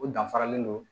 O danfaralen don